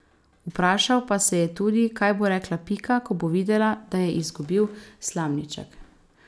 Vprašal pa se je tudi, kaj bo rekla Pika, ko bo videla, da je izgubil slamniček.